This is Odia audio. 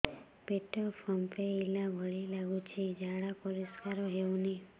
ପେଟ ଫମ୍ପେଇଲା ଭଳି ଲାଗୁଛି ଝାଡା ପରିସ୍କାର ହେଉନି